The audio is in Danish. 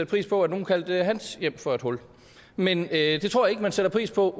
pris på at nogen kaldte hans hjem for et hul men jeg tror ikke man sætter pris på